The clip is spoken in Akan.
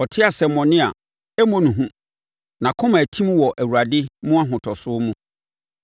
Ɔte asɛmmɔne a, ɛmmɔ ne hu; nʼakoma atim wɔ Awurade mu ahotosoɔ mu.